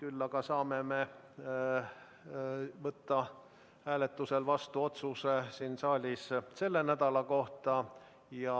Küll aga saame võtta hääletusel vastu otsuse selle nädala kohta ja